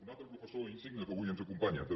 un altre professor insigne que avui ens acompanya també